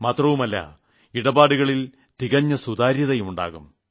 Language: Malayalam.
മാത്രമല്ല ഇടപാടുകളിൽ തികഞ്ഞ സുതാര്യതതന്നെയുണ്ടാകും